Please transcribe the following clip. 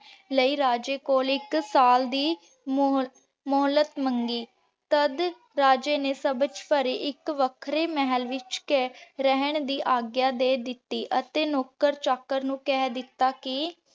ਇਕ ਰਾਜੇ ਦੇ ਤਿੰਨ ਪੁੱਤਰ ਸਨ। ਦੋ ਪੁੱਤਰ ਵਿਆਹੇ ਹੋਏ ਸਨ ਪਰ ਤੀਜੀ ਪੁੱਤਰ ਪਰ ਤੀਜਾ ਪੁੱਤਰ ਕੁਆਰਾ ਸੀ ਜਿਸ ਦਾ ਨਾਂ ਮਿਰਜ਼ਾ ਮੀਰਜ਼ਾਦਾ ਸੀ।